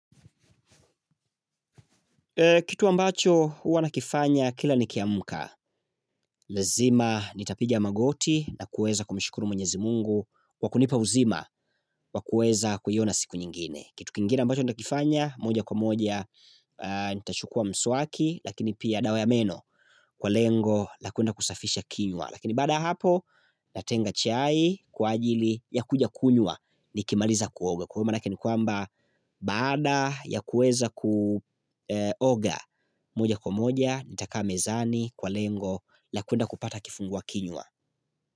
Kitu ambacho huwa na kifanya kila nikiamka, lazima nitapiga magoti na kuweza kumshukuru mwenyezi mungu, kwakunipa uzima wakuweza kuiona siku nyingine. Kitu kingine ambacho na kifanya, moja kwa moja, nitachukua msuaki, lakini pia dawa ya meno kwa lengo, lakuenda kusafisha kinywa. Lakini baada ya hapo natenga chai kwa ajili ya kuja kunywa ni kimaliza kuoga Kwa hivo maana yake ni kwamba baada ya kuweza kuoga moja kwa moja Nitakaa mezani kwa lengo la kuenda kupata kifungua kinywa.